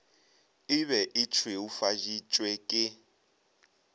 e be e šweufaditšwe ke